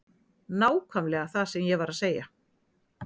Nákvæmlega það sem ég var að segja.